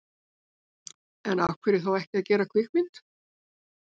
En af hverju þá ekki að gera kvikmynd?